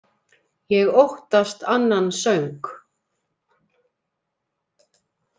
Ég óttast annan söng.